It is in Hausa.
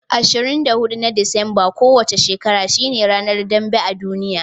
24 na Disambar kowa ce shekara shine ranar dambe a duniya.